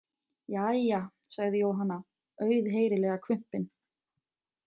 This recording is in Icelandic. Jæja, sagði Jóhanna, auðheyrilega hvumpin.